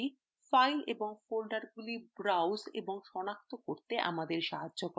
এই দুটি files এবং ফোল্ডারগুলি browse এবং সনাক্ত করতে আমাদের সাহায্য করে